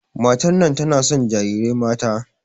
Matar nan tana son jarirai mata.